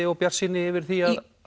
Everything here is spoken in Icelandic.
og bjartsýni yfir því